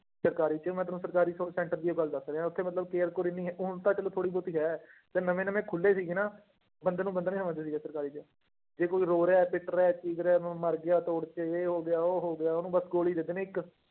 ਸਰਕਾਰੀ ਚ ਮੈਂ ਤੈਨੂੰ ਸਰਕਾਰੀ ਸ center ਦੀ ਇਹ ਗੱਲ ਦੱਸ ਰਿਹਾਂ ਉੱਥੇ ਮਤਲਬ care ਕੂਅਰ ਇੰਨੀ, ਹੁਣ ਤਾਂ ਚਲੋ ਥੋੜ੍ਹੀ ਬਹੁਤੀ ਹੈ, ਜਦ ਨਵੇਂ ਨਵੇਂ ਖੁੱਲੇ ਸੀਗੇ ਨਾ, ਬੰਦੇ ਨੂੰ ਬੰਦਾ ਨੀ ਸਮਝਦੇ ਸੀਗੇ ਸਰਕਾਰੀ ਚ, ਜੇ ਕੋਈ ਰੋ ਰਿਹਾ, ਪਿੱਟ ਰਿਹਾ, ਚੀਖ ਰਿਹਾ, ਮ ਮਰ ਗਿਆ ਤੋੜ ਚ, ਇਹ ਹੋ ਗਿਆ, ਉਹ ਹੋ ਗਿਆ ਉਹਨੂੰ ਬਸ ਗੋਲੀ ਦੇ ਦੇਣੀ ਇੱਕ